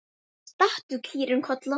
Stattu, kýrin Kolla!